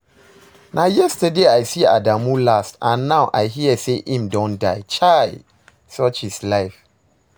Na yesterday I see Adamu last and now I hear say im don die. Chai! such is life